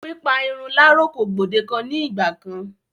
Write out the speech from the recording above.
Pípa irun láro kò gbòdekan ní ìgba kán.